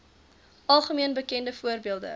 algemeen bekende voorbeelde